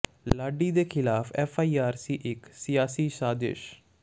ਲਾਡੀ ਦੇ ਖ਼ਿਲਾਫ਼ F I R ਸੀ ਇੱਕ ਸਿਆਸੀ ਸਾਜ਼ਿਸ਼